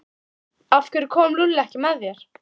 Af hverju kom Lúlli ekki með þér?